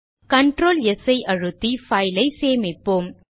Ctrl s ஐ அழுத்தி file ஐ சேமிப்போம்